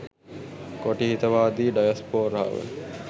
කොටි හිතවාදී ඩයස්‌පෝරාව